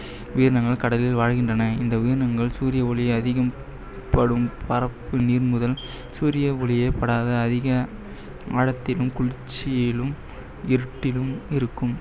உயிரினங்கள் கடலில் வாழ்கின்றன, இந்த உயிரினங்கள் சூரிய ஒளி அதிகம்படும் பரப்பு நீர் முதல் சூரிய ஒளியே படாத அதிக ஆழத்திலும், உச்சியிலும், இருட்டிலும் இருக்கும்